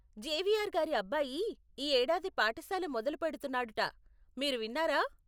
Xavier గారి అబ్బాయి ఈ ఏడాది పాఠశాల మొదలుపెడుతున్నాడట, మీరు విన్నారా?